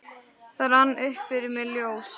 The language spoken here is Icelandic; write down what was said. Það rann upp fyrir mér ljós